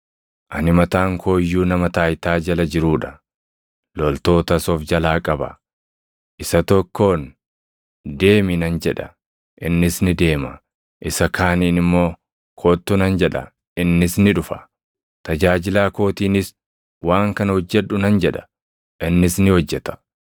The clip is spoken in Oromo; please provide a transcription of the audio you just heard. Ani mataan koo iyyuu nama taayitaa jala jiruu dha; loltootas of jalaa qaba. Isa tokkoon, ‘Deemi’ nan jedha; innis ni deema; isa kaaniin immoo, ‘Kottu’ nan jedha; innis ni dhufa. Tajaajilaa kootiinis, ‘Waan kana hojjedhu’ nan jedha; innis ni hojjeta.”